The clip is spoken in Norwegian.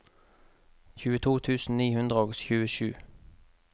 tjueto tusen ni hundre og tjuesju